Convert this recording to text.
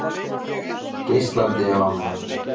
Geislandi af ánægju.